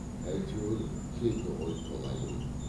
әйтеуір келді ғой толайым